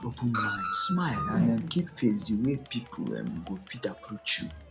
open mind smile and um keep face di way wey pipo um go fit approach you